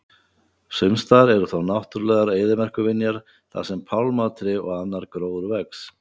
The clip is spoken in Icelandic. sumstaðar eru þó náttúrulegar eyðimerkurvinjar þar sem pálmatré og annar gróður vex